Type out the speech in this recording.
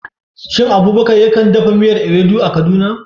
Shin Abubakar ya kan dafa miyar Ewedu a Kaduna?